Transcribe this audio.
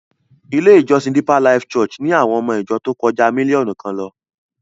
Ilé-ìjọsìn Deeper Life Bible Church ni àwọn ọmọ ìjọ tó kọjá mílíọ̀nù kan lọ.